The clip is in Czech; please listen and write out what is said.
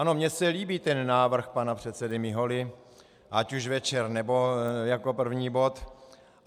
Ano, mně se líbí ten návrh pana předsedy Miholy, ať už večer, nebo jako první bod.